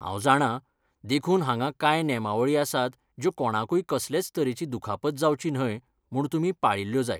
हांव जाणां, देखून हांगा कांय नेमावळी आसात ज्यो कोणाकूय कसलेच तरेची दुखापत जावची न्हय म्हूण तुमी पाळिल्ल्यो जाय!